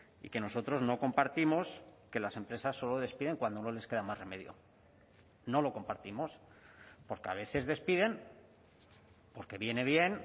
y que nosotros no compartimos que las empresas solo despiden cuando no les queda más remedio no lo compartimos porque a veces despiden porque viene bien